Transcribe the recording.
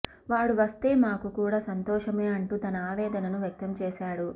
వాడు వస్తే మాకు కూడా సంతోషమే అంటూ తన ఆవేదనను వ్యక్తం చేశాడు